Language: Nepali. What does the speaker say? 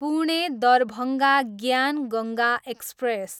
पुणे, दरभङ्गा ज्ञान गङ्गा एक्सप्रेस